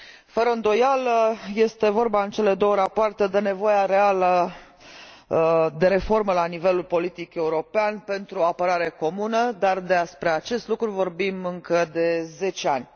Fără îndoială, este vorba în cele două rapoarte de nevoia reală de reformă la nivelul politic european pentru apărare comună, dar despre acest lucru vorbim încă de 10 ani.